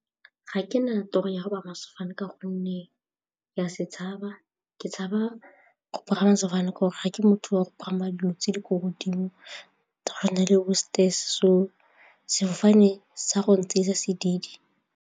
Ga ke na toro ya go sefane ka gonne ke a se tshaba, ke tshaba go pagama sefofane ke gore ga ke motho wa go pagama le ko godimo tsa go tshwana le bo so sefofane sa go ntseisa sedidi.